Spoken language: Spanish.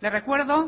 le recuerdo